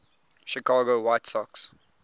chicago white sox